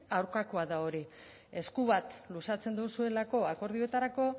aurkakoa da hori esku bat luzatzen duzuelako akordioetarako